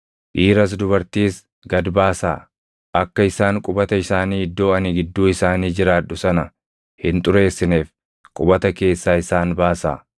Dhiiras dubartiis gad baasaa; akka isaan qubata isaanii iddoo ani gidduu isaanii jiraadhu sana hin xureessineef qubata keessaa isaan baasaa.”